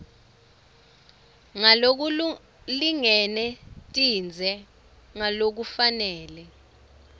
ngalokulingene tindze ngalokufanele